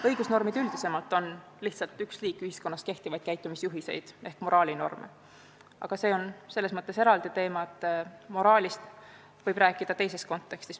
Õigusnormid üldisemalt on lihtsalt üks liik ühiskonnas kehtivaid käitumisjuhiseid ehk moraalinorme.